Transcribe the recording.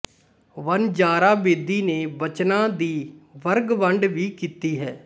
ਵਣਜਾਰਾ ਬੇਦੀ ਨੇ ਬਚਨਾਂ ਦੀ ਵਰਗਵੰਡ ਵੀ ਕੀਤੀ ਹੈ